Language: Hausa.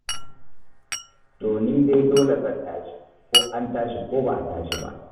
To ni dai dole zan tashi, ko an tashi ko ba a tashi ba.